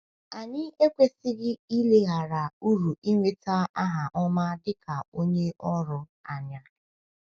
Anyị ekwesịghị ileghara uru ịnweta aha ọma dị ka onye ọrụ anya.